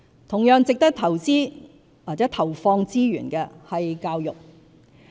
同樣值得投資或投放資源的是教育。